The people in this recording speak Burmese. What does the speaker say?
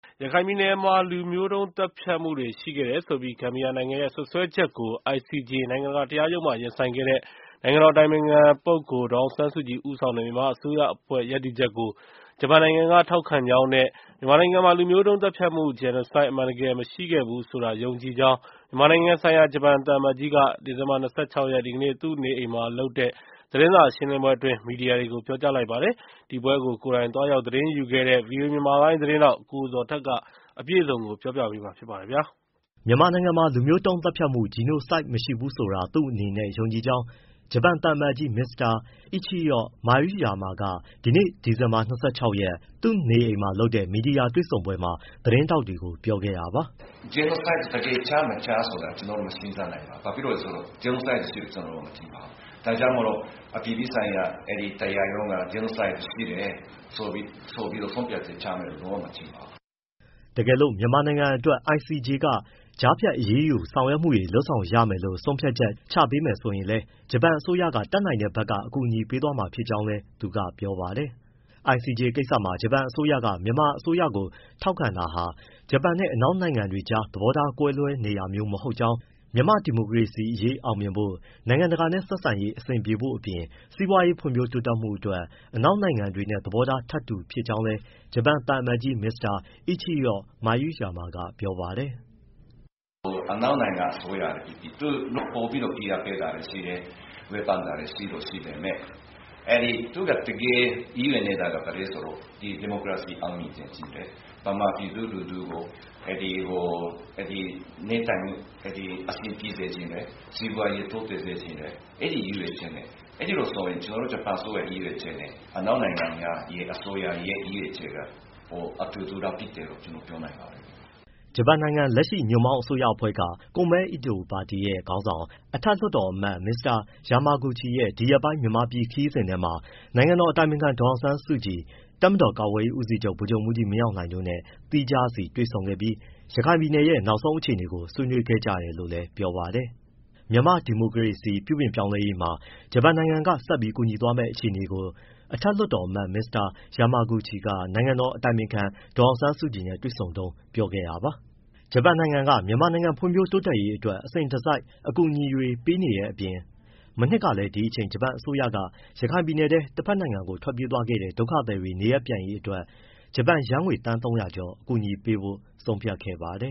ရခိုင်ပြည်နယ်မှာ လူမျိုးတုံး သတ်ဖြတ်မှုတွေ ရှိခဲ့တယ်ဆိုပြီး ဂမ်ဘီယာနိုင်ငံရဲ့ စွပ်စွဲချက်ကို ICJ နိုင်ငံတကာတရားရုံးမှာ ရင်ဆိုင်ခဲ့တဲ့ နိုင်ငံတော်အတိုင်ပင်ခံ ဒေါ်အောင်ဆန်းစုကြည် ဦးဆောာင်ခဲ့တဲ့ မြန်မာအစိုးရအဖွဲ့ ရပ်တည်ချက်ကို ဂျပန်နိုင်ငံက ထောက်ခံကြောင်းနဲ့ မြန်မာနိုင်ငံမှာ လူမျိုးတုံးသတ်ဖြတ်မှု genocide အမှန်တကယ် မရှိခဲ့ဘူးဆိုတာ ယုံကြည်ကြောင်း မြန်မာနိုင်ငံဆိုင်ရာ ဂျပန်သံအမတ်ကြီးက ဒီဇင်ဘာ ၂၆ ရက် သူ့နေအိမ်မှာလုပ်တဲ့ သတင်းစာရှင်းလင်းပွဲမှာ မီဒီယာတွေကို ပြောလိုက်ပါတယ်။ ဒီပွဲကို ကိုယ်တိုင်သွားရောက် သတင်းယူခဲ့တဲ့ ဗွီအိုအေ မြန်မာပိုင်း သတင်းထောက် ကိုဇော်ထက်က ပြောပြပေးမှာပါ။ မြန်မာနိုင်ငံမှာ လူမျိုးတုံးသတ်ဖြတ်မှု genocide မရှိဘူးဆိုတာ သူ့အနေနဲ့ ယုံကြည်ကြောင်း ဂျပန်သံအမတ်ကြီး မစ္စတာ အိချီရော့မာရုယာမက ဒီနေ့ ဒီဇင်ဘာ ၂၆ ရက် သူ့နေအိမ်မှာ လုပ်တဲ့ မီဒီယာတွေ့ဆုံပွဲမှာ သတင်းထောက်တွေကို ပြောခဲ့တာပါ။ “genocide တကယ် ချ၊ မချ ဆိုတာ ကျနော် မရှင်းပြနိုင်ပါဘူး။ ဘာလို့ဆိုတော့ genocideရှိတယ်လို့ ကျနော် မထင်ပါဘူး။ ဒါကြောင့်မို့လို့ အပြည်ပြည်ဆိုင်ရာတရားရုံးက genocide ရှိတယ်ဆိုပြီး ဆုံးဖြတ်ချက်ချမယ်လို့ လုံးဝမထင်ပါဘူး။” တကယ်လို့ မြန်မာနိုင်ငံအတွက် ICJ က ကြားဖြတ် အရေးယူ ဆောင်ရွက်မှု တွေ လုပ်ဆောင်ရမယ်လို့ ဆုံးဖြတ်ချက် ချပေးမယ် ဆိုရင်လည်း ဂျပန်အစိုးရက တတ်နိုင်တဲ့ ဘက်က အကူအညီပေးသွားမှာ ဖြစ်ကြောင်းလည်း ပြောပါတယ်။ ICJ ကိစ္စမှာ ဂျပန်အစိုးရက မြန်မာအစိုးရကို ထောက်ခံတာဟာ ဂျပန်နဲ့ အနောက်နိုင်ငံတွေကြား သဘောထားကွဲလွဲ နေတာမျိုး မဟုတ်ကြောင်းနဲ့ မြန်မာ့ဒီမိုကရေစီရေး အောင်မြင်ဖို့၊ နိုင်ငံတကာနဲ့ဆက်ဆံရေး အဆင်ပြေဖို့အပြင် စီးပွားရေးဖွံ့ဖြိုးဖို့အတွက် အနောက်နိုင်ငံတွေနဲ့ သဘောထား ထပ်တူ ဖြစ်ကြောင်း ဂျပန်သံအမတ်ကြီး မစ္စတာ အိချီရော့မာရုယာမက ပြောပါတယ်။ “အနောက်နိုင်ငံ အစိုးရပဲဖြစ်ဖြစ် သူ ပိုပြီး ဖိအားပေးတာရှိတယ်။ ဝေဖန်တာတွေ ရှိတော့ ရှိပေမဲ့ သူတကယ် ရည်ရွယ်နေတာက ဘာလဲဆိုတော့ ဒီမိုကရေစီ အောင်မြင်စေချင်တယ်။ မြန်မာပြည်သူလူထုကို အဆင်ပြေစေချင်တယ်။ စီးပွားရေး တိုးတက်စေချင်တယ်။ အဲဒီလိုဆိုရင် ကျနော်တို့ အစိုးရ ရည်ရွယ်ချက်နဲ့ အနောက်နိုင်ငံများ အစိုးရနဲ့ ရည်ရွယ်ချက်က အတူတူလောက်ဖြစ်တယ်လို့ ကျနော်ပြောနိုင်ပါတယ်။” ဂျပန်နိုင်ငံ လက်ရှိညွန့်ပေါင်းအစိုးရအဖွဲ့က Komeito ပါတီရဲ့ ခေါင်းဆောင်၊ အထက်လွှတ်တော်အမတ် Mr. Yamaguchi Natsuo ရဲ့ ဒီရက်ပိုင်း မြန်မာပြည်ခရီးစဉ်ထဲမှာ နိုင်ငံတော်အတိုင်ပင်ခံ ဒေါ်အောင်ဆန်းစုကြည်၊ တပ်မတော် ကာကွယ်ရေးဦးစီးချုပ် ဗိုလ်ချုပ်မှူးကြီး မင်းအောင်လှိုင် တို့နဲ့ သီးခြားစီတွေ့ဆုံပြီး ရခိုင်ပြည်နယ်ရဲ့ နောက်ဆုံးအခြေအနေကို ဆွေးနွေးခဲ့ကြတယ်လို့လည်း ပြောပါတယ်။ မြန်မာ့ဒီမိုကရေစီ ပြုပြင်ပြောင်းလဲရေးမှာ ဂျပန်နိုင်ငံက ဆက်ပြီးကူညီသွားမယ့် အခြေအနေကို အထက်လွှတ်တော်အမတ် Mr. Yamaguchi Natsuo က နိုင်ငံတော်အတိုင်ပင်ခံ ဒေါ်အောင်ဆန်းစုကြည်နဲ့ တွေ့ဆုံတုန်း ပြောခဲ့တာပါ။ ဂျပန်နိင်ငံက မြန်မာနိုင်ငံဖွံ့ဖြိုး တိုးတက်ရေးအတွက် အစဉ်တစိုက် အကူအညီတွေ ပေးနေတဲ့အပြင် မနှစ်က ဒီအချိန်ကလည်း ဂျပန်အစိုးရက ရခိုင်ပြည်နယ်ထဲကနေ တဘက်နိုင်ငံကို ထွက်ပြေးခဲ့တဲ့ ဒုက္ခသည်တွေ နေရပ်ပြန်ရေးအတွက် ဂျပန်ယန်းငွေ သန်း ၃၀၀ ကျော် အကူအညီပေးဖို့ ဆုံးဖြတ်ခဲ့ပါတယ